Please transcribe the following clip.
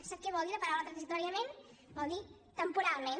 sap què vol dir la paraula transitòriament vol dir temporalment